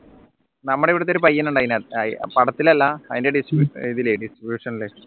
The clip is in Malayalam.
നമ്മുടെ ഇവിടത്തെ ഒരു പയ്യൻണ്ട് അയിനകത്ത് ആ പടത്തിൽ അല്ല distribution